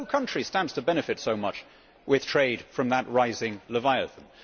No country stands to benefit so much with trade from that rising Leviathan.